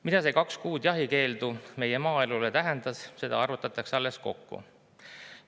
Mida see kaks kuud jahikeeldu meie maaelule tähendas, seda alles arvutatakse kokku.